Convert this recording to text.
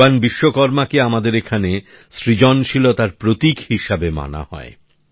ভগবান বিশ্বকর্মাকে আমাদের এখানে সৃজনশীলতার প্রতীক হিসেবে মানা হয়